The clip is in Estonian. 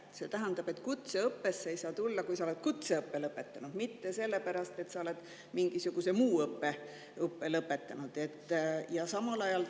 See tähendab, et kutseõppesse ei saa tulla siis, kui sa oled kutseõppe lõpetanud, mitte siis, kui sa oled mingisuguse muu õppe lõpetanud.